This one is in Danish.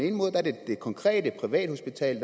konkrete privathospital